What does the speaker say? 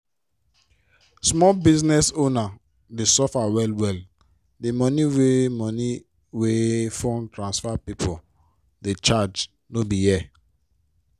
small business owners dey suffer well-well di money wey money wey phone transfer pipo dey charge no be here.